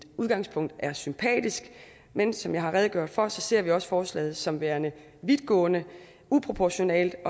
udgangspunktet er sympatisk men som jeg har redegjort for ser vi også forslaget som værende vidtgående og uproportionalt og